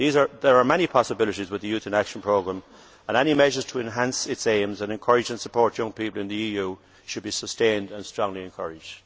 There are many possibilities under the Youth in Action programme, and any measures to enhance its aims and to encourage and support young people in the EU should be sustained and strongly encouraged.